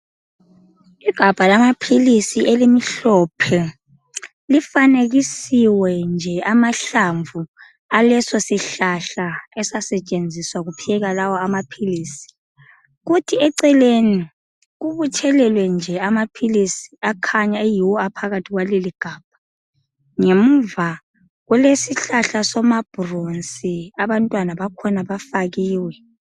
Igabha lamaphilisi elimhlophe. Lifanekisiwe nje amahlamvu alesosihlahla esasetshenziswa kuphekwa lawa amaphilisi. Kuthi eceleni kubuthelelwe nje amaphilisi akhanya eyiwo aphakathi kwaleligabha. Ngemuva kulesihlahla somabhurosi abantwana bakhona bafakiwe.